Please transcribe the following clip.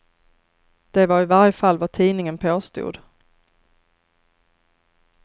Det var i varje fall vad tidningen påstod.